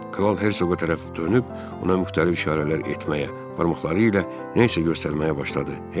Kral Herseqə tərəf dönüb, ona müxtəlif işarələr etməyə, barmaqları ilə nəsə göstərməyə başladı.